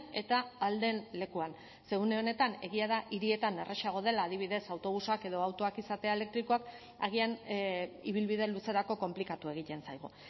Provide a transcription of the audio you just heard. eta ahal den lekuan ze une honetan egia da hirietan errazago dela adibidez autobusak edo autoak izatea elektrikoak agian ibilbide luzerako konplikatu egiten zaigu